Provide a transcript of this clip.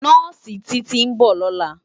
Nòsi Titi n bò lòlá